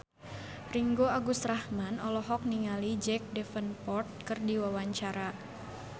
Ringgo Agus Rahman olohok ningali Jack Davenport keur diwawancara